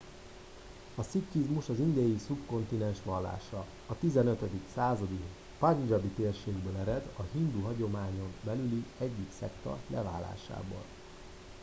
a szikhizmus az indiai szubkontinens vallása a 15. századi pandzsábi térségből ered a hindu hagyományon belüli egyik szekta leválásából